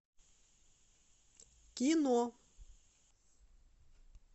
кино